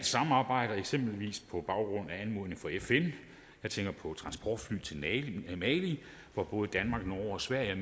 samarbejdet eksempelvis på baggrund af anmodning fra fn jeg tænker på transportfly til mali hvor både danmark norge og sverige